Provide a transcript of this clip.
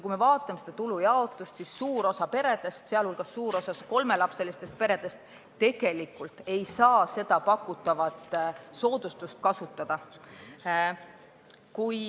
Kui me vaatame tulude jaotust, siis näeme, et suur osa peredest, sh suur osa kolmelapselistest peredest, tegelikult ei saa seda pakutavat soodustust kasutada.